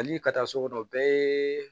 Hali ka taa sugu dɔn o bɛɛ ye